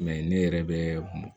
ne yɛrɛ bɛ bɔn